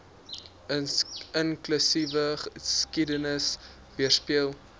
inklusiewe geskiedenis weerspieël